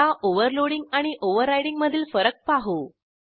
आता ओव्हरलोडिंग आणि ओव्हररायडिंग मधील फरक पाहू